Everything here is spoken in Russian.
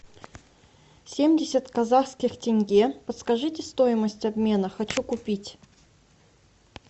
семьдесят казахских тенге подскажите стоимость обмена хочу купить